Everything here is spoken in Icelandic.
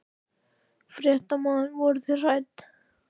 Fréttamaður: Voruð þið hrædd?